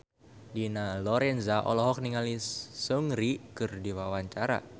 Dina Lorenza olohok ningali Seungri keur diwawancara